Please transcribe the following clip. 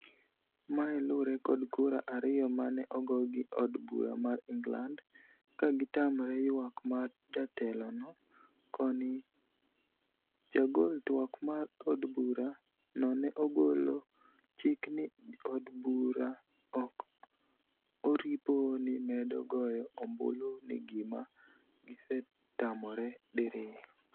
mae lure kod kura ariyo mane ogo gi od bura mar England, ka gitamre yuak mar jatelo no. koni jagol twak mar od bura no ne ogolo chik ni jo od bura ok oripo ni medo goyo ombulu ni gima gisetamore diriyo